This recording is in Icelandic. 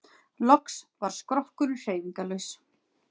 Loks varð skrokkurinn hreyfingarlaus.